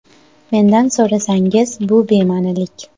Mendan so‘rasangiz, bu bema’nilik.